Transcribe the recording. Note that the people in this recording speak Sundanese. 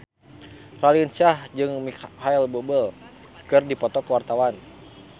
Raline Shah jeung Micheal Bubble keur dipoto ku wartawan